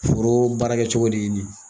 Foro baara kɛcogo de ye nin ye.